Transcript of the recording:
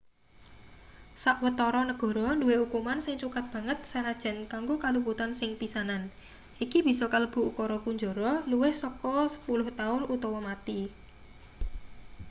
sawetara negara duwe ukuman sing cukat banget sanajan kanggo kaluputan sing pisanan iki bisa kalebu ukara kunjara luwih saka 10 taun utawa mati